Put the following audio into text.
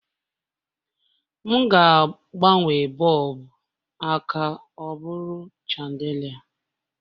M ga-agbanwe bọlbụ a ka ọ bụrụ chandelier